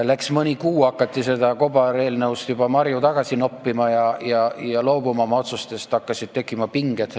Läks mõni kuu, hakati kobareelnõust juba marju välja noppima ja oma otsustest loobuma, hakkasid tekkima pinged.